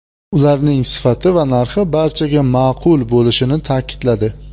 Ularning sifati va narxi barchaga ma’qul bo‘lishini ta’kidladi.